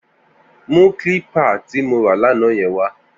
Mù klípà ti mó rà làná wà